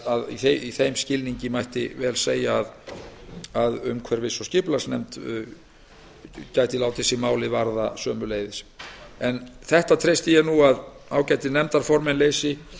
að í þeim skilningi mætti vel segja að umhverfis og samgöngunefnd gæti sömuleiðis látið sig málið varða ég treysti því að ágætir nefndaformenn leysi